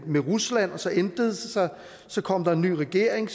med rusland og så ændrede det sig så kom der en ny regering